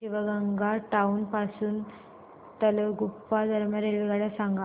Shivamogga town पासून तलगुप्पा दरम्यान रेल्वेगाड्या सांगा